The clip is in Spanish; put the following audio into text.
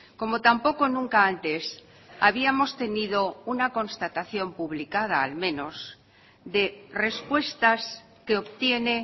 como tampoco nunca antes habíamos tenido una constatación publicada al menos de respuestas que obtiene